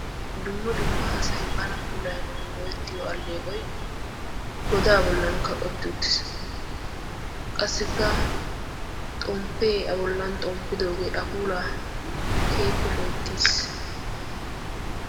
dumma dummaa asay bana puulaa goyettiyo alleeqoy godaa bollan kaqqetti uttiis. qassikka xomppee a bollan xomppidoogee a puulaa kafoti uttiis